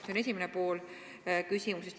See on esimene pool küsimusest.